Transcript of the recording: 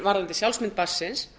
varðandi sjálfsmynd barnsins